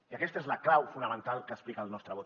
i aquesta és la clau fonamental que explica el nostre vot